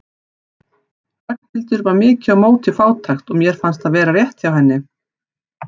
Ragnhildur var mikið á móti fátækt og mér fannst það vera rétt hjá henni.